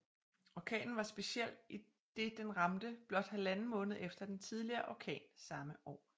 Orkanen var speciel i den den ramte blot halvanden måned efter den tidligere orkan samme år